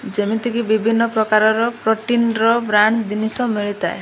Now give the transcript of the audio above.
ଯେମିତି କି ବିଭିନ୍ନ ପ୍ରକାରର ପ୍ରୋଟିନ ର ବ୍ରାଣ୍ଡ ଜିନିଷ ମିଳିଥାଏ।